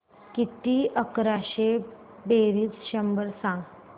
किती अकराशे बेरीज शंभर सांग